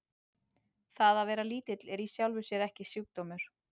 Það að vera lítill er í sjálfu sér ekki sjúkdómur.